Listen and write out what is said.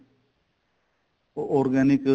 organic